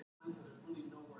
Andardráttur hans lyktar.